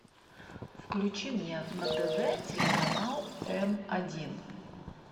включи мне на тв телеканал м один